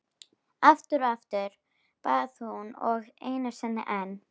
Aftur og aftur, bað hún og einu sinni enn.